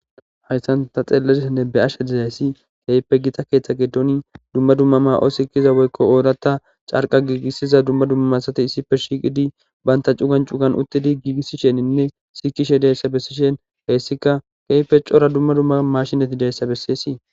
Hayzan tha xeellashenne be7ashe daysi keehippe githa keeththa giddooni dumma dumma maa7o sikkiya woykko ooraththa carqqre giigisiza dumma dumma asatji issippe shiiqidi banththa cugan cugan uththidi giigissisheeninne sikkishe deesa bessishin heyssikka keehippe cora dumma dumma maashine gideesa besseesi.